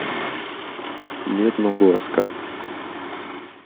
медногорска